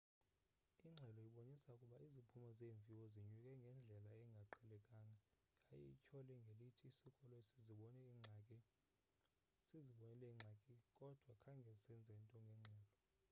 ingxelo ibonise ukuba iziphumo zeemviwo zinyuke ngendlela engaqhelekanga yaye ityhole ngelithi isikolo sizibonile iingxaki kodwa khange senze nto ngengxelo